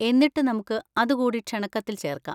എന്നിട്ട് നമുക്ക് അതുകൂടി ക്ഷണക്കത്തിൽ ചേർക്കാം.